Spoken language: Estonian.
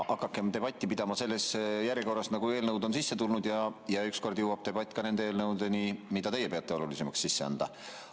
Hakakem debatti pidama selles järjekorras, nagu eelnõud on sisse tulnud, ja küll ükskord jõuab debatt ka nende eelnõudeni, mida teie peate oluliseks sisse anda.